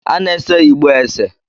A na-ese igbo ese